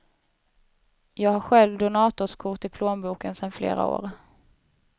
Jag har själv donatorskort i plånboken sedan flera år.